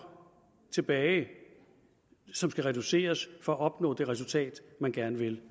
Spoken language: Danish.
tilbage som skal reduceres for at opnå det resultat man gerne vil